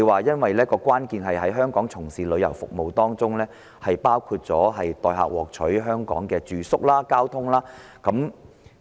他說關鍵在於在香港提供的旅遊服務是否包括代客獲取香港的住宿和交通。